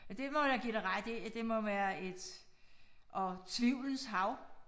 Ja det må jeg give dig ret i at det må være et og tvivlens hav